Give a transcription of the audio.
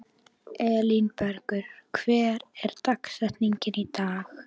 Elínbergur, hver er dagsetningin í dag?